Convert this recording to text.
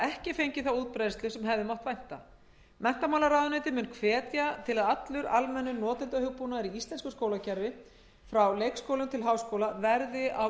ekki fengið þá útbreiðslu sem hefði mátt vænta menntamálaráðuneytið mun hvetja til að allur almennur notendahugbúnaður í íslensku skólakerfi frá leikskólum til háskóla verði á